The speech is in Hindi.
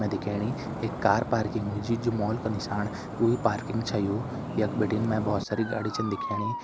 में दिखेणी एक कार पार्किंग मा जू मॉल का निशान वोही पार्किंग छ यू यख बिटिन बहुत सारी गाड़ी छन दिखेणी।